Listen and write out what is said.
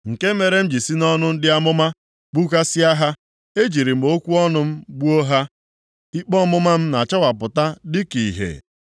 Nke mere m ji si nʼọnụ ndị amụma gbukasịa ha. Ejirila m okwu ọnụ m gbuo ha, ikpe ọmụma m na-achawapụta dịka ìhè.